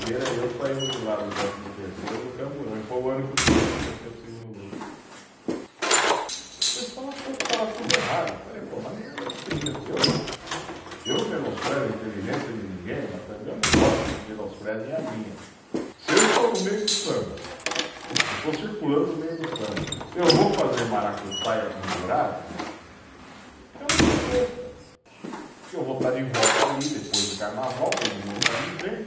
Gera e eu saímos de lá do décimo terceiro no camburão, e foi o ano que o Peruche desceu para o segundo grupo. O pessoal achou que estava tudo errado, eu falei, pô seria eu, eu não menosprezo a inteligência de ninguém, mas também eu não gosto que menosprezem a minha, se eu estou no meio do samba, eu estou circulando no meio do samba, eu vou fazer maracutaia com o jurado? Eu não sou besta, porque eu vou estar de volta ali, depois do carnaval, todo mundo está me vendo...